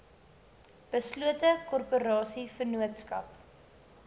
beslote korporasie vennootskap